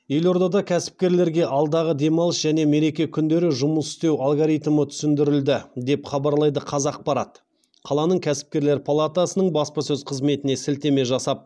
елордада кәсіпкерлерге алдағы демалыс және мереке күндері жұмыс істеу алгоритмі түсіндірілді деп хабарлайды қазақпарат қаланың кәсіпкерлер палатасының баспасөз қызметіне сілтеме жасап